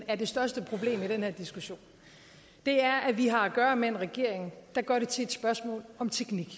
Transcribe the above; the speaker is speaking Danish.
er det største problem i den her diskussion er at vi har at gøre med en regering der gør det til et spørgsmål om teknik